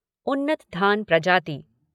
उन्नत धान प्रजाति